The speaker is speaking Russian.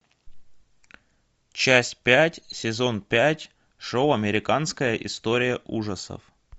часть пять сезон пять шоу американская история ужасов